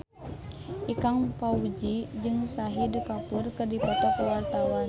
Ikang Fawzi jeung Shahid Kapoor keur dipoto ku wartawan